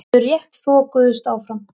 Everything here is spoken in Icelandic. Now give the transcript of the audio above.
Þau rétt þokuðust áfram.